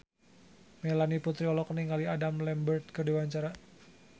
Melanie Putri olohok ningali Adam Lambert keur diwawancara